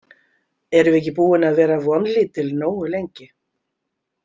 Erum við ekki búin að vera vonlítil nógu lengi?